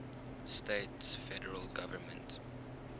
states federal government